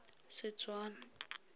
setswana